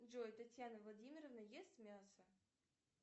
джой татьяна владимировна ест мясо